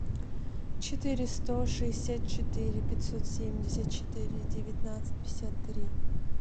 четыре сто шестьдесят четыре пятьсот семьдесят четыре девятнадцать пятьдесят три